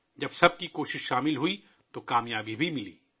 جب سب کی کوششیں یکجا ہوئیں تو کامیابی بھی مل گئی